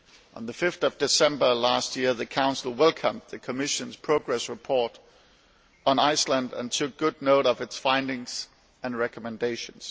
On 5 December last year, the Council welcomed the Commission's progress report on Iceland and took good note of its findings and recommendations.